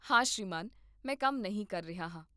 ਹਾਂ ਸ਼੍ਰੀਮਾਨ, ਮੈਂ ਕੰਮ ਨਹੀਂ ਕਰ ਰਿਹਾ ਹਾਂ